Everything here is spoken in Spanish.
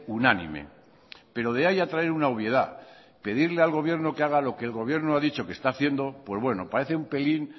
unánime pero de ahí a traer una obviedad pedirle al gobierno que haga lo que el gobierno ha dicho que está haciendo pues bueno parece un pelín